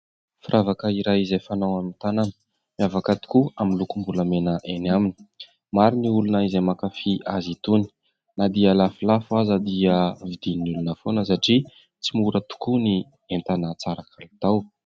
Firavaka iray izay fanao amin'ny tanana, miavaka tokoa amin'ny lokom-bolamena eny aminy. Maro ny olona izay mankafy azy itony, na dia lafolafo aza dia vidin'ny olona foana satria tsy mora tokoa ny entana tsara kalitao.